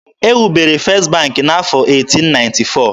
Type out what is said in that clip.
E wubere First bank n'afọ 1894.